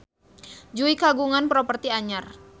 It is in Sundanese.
Jui kagungan properti anyar